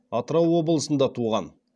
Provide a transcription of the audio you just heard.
атырау облысында туған